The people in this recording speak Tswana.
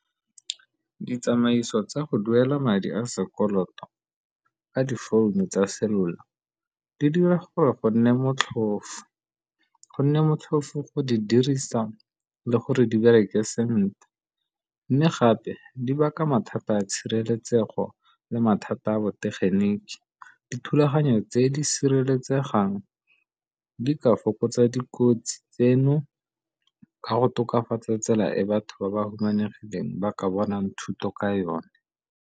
Ditsamaiso tsa go duela madi a sekoloto ka difounu tsa selula di dira gore go nne motlhofo, go nne motlhofo go di dirisa le gore di bereke sentle. Mme gape di baka mathata a tshireletsego le mathata a botegeniki, dithulaganyo tse di sireletsegang di ka fokotsa dikotsi tseno ka go tokafatsa tsela e batho ba ba humanegileng ba ka bonang thuto ka yone.